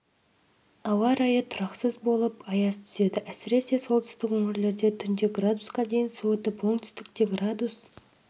ауа райы тұрақсыз болып аяз түседі әсіресе солтүстік өңірлерде түнде градусқа дейін суытып оңтүстікте градус